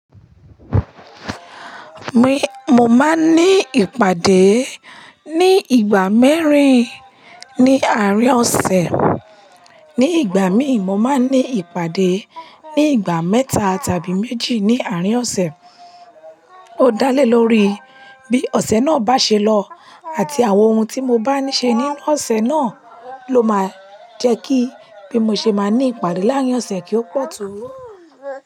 Mi, mo máa ń ní ìpàdé ní ìgbà mẹ́rin ní àárín ọ̀sẹ̀. Ní ìgbà mí ì, mo máa ń ní ìpàdé ní ìgbà mẹ́ta tàbí méjì ní àárín ọ̀sẹ̀. Ó dá lé lórí bí ọ̀sẹ̀ náà bá ṣe lọ àti àwọn ohun tí mo bá ń ṣe nínú ọ̀sẹ̀ náà ló máa ń jẹ́ kí bí mo ṣe máa ní ìpàdé láàrín ọ̀sẹ̀ kí ó pọ̀ tó.